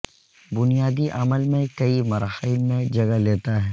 بنیادی عمل میں کئی مراحل میں جگہ لیتا ہے